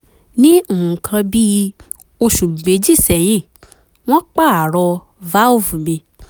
ní nǹkan bí oṣù méjì sẹ́yìn wọ́n pààrọ̀ valve mi